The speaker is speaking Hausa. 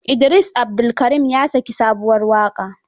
Idris Abdulkarim ya saki sabuwar waƙa